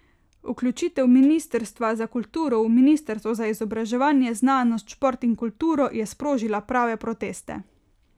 Vključitev ministrstva za kulturo v ministrstvo za izobraževanje, znanost, šport in kulturo je sprožila prve proteste.